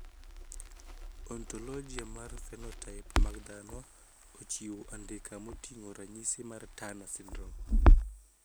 Ontologia mar phenotype mag dhano ochiwo andika moting`o ranyisi mag Turner syndrome.